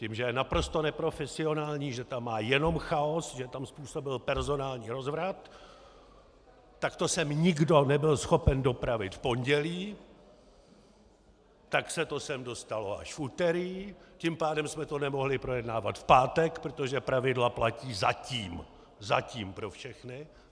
Tím, že je naprosto neprofesionální, že tam má jenom chaos, že tam způsobil personální rozvrat, tak to sem nikdo nebyl schopen dopravit v pondělí, tak se to sem dostalo až v úterý, tím pádem jsme to nemohli projednávat v pátek, protože pravidla platí - zatím, zatím - pro všechny.